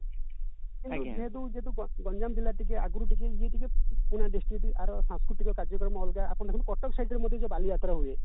କିନ୍ତୁ ଯେହେତୁ ଯେହେତୁ ଗଞ୍ଜାମ ଜିଲ୍ଲା ଆଗରୁ ଟିକେ ଇଏ ଟିକେ ଟିକେ ସାସ୍କୃତିକ କାର୍ଯ୍ୟ କ୍ରମ ଅଲଗା ଆପଣ ଦେଖନ୍ତି କଟକ site ରେ ଯୋଉ ବଳି ଯାତ୍ରା ହୁଏ